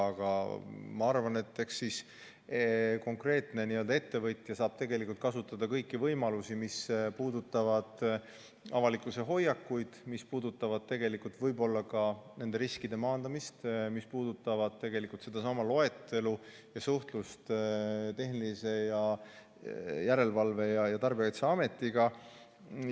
Aga ma arvan, et eks konkreetne ettevõtja saab tegelikult kasutada kõiki võimalusi, mis puudutavad avalikkuse hoiakuid, mis puudutavad võib-olla ka nende riskide maandamist, mis puudutavad tegelikult sedasama loetelu ja suhtlust Tehnilise Järelevalve ja Tarbijakaitse Ametiga.